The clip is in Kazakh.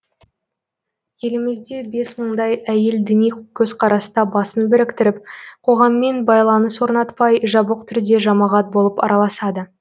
елімізде бес мыңдай әйел діни көзқараста басын біріктіріп қоғаммен байланыс орнатпай жабық түрде жамағат болып араласады